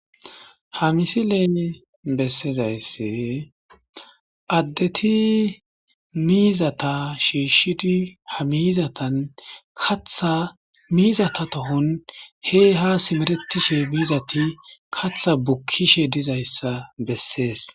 Ha misi leeni bessezaysse addeti miizata shiishshidi ha miizatan katha miizata tohon hey ha simeretishe miizati katha bukkishe dizayssa bessees.